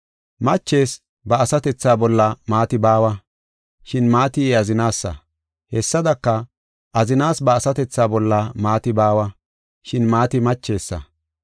Machees ba asatethaa bolla maati baawa, shin maati I azinasa. Hessadaka, azinas ba asatethaa bolla maati baawa, shin maati machesa.